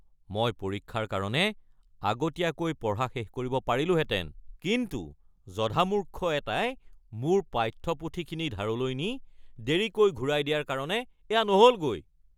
মই পৰীক্ষাৰ কাৰণে আগতীয়াকৈ পঢ়া শেষ কৰিব পাৰিলোহেঁতেন কিন্তু জধামূৰ্খ এটাই মোৰ পাঠ্যপুথিখিনি ধাৰলৈ নি দেৰিকৈ ঘূৰাই দিয়াৰ কাৰণে এয়া নহ'লগৈ।